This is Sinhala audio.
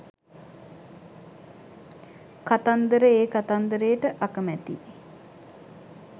"කතන්දර" ඒ කතන්දරේට අකමැතියි